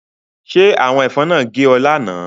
Ṣé àwọn ẹ̀fọn náà gé ọ lánàá?